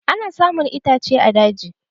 Ana samun itace a daji.